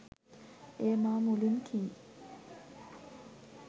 එය මා මුලින් කී